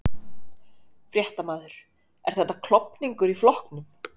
Fréttamaður: Er þetta klofningur í flokknum?